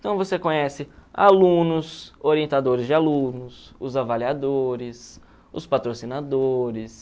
Então você conhece alunos, orientadores de alunos, os avaliadores, os patrocinadores...